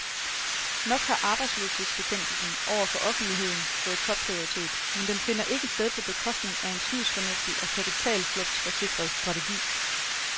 Nok har arbejdsløshedsbekæmpelsen over for offentligheden fået topprioritet, men den finder ikke sted på bekostning af en snusfornuftig og kapitalflugtsforsikret strategi.